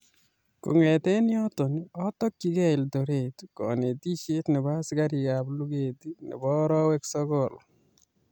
Kong'eten yoton otokyigei Eldoret konetisyet nebo asikarikab luget nebo orowek sogol